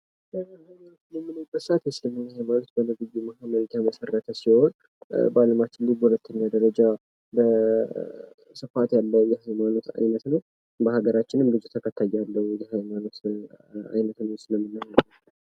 ሀይማኖት የእስልምና ሀይማኖት በነብዩ ሙሀመድ የተመሰረተ ሲሆን በአለማችን ላይ በሁለተኛ ደረጃ ስፋት ያለው የሀይማኖት አይነት ነው። በሀገራችንም ብዙ ተከታይ ያለው የሀይማኖት አይነት ነው እስልምና።